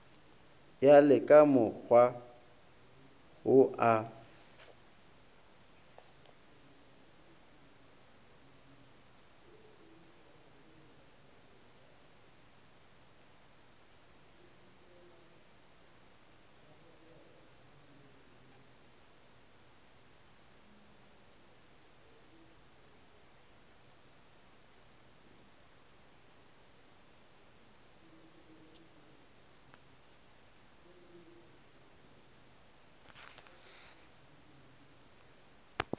ya le kamokgwa wo a